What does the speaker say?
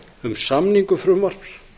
um samningu frumvarps